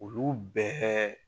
Olu bɛɛ